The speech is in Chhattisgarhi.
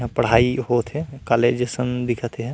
यहाँ पढ़ाई होंथे कॉलेज असन दिखत हे।